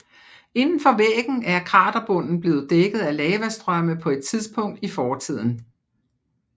Inden for væggen er kraterbunden blevet dækket af lavastrømme på et tidspunkt i fortiden